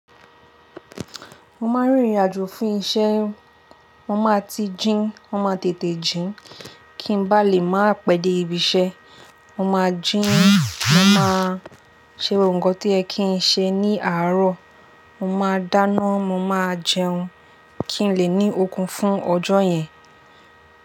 Mo máa ń rìnrìn àjò fún isẹ́, mo máa ti jíń, mo máa tètè jíń, kí n bá lè máa pèdè ibi isẹ́. Mo máa jíń, mo máa ṣe gbogbo nkan tó yẹ kí n ṣe ní àárọ̀, mo máa dáná, mo máa jẹun kí n lè ní okun fún ọjọ́ yẹn.